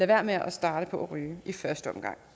være med at starte på at ryge i første omgang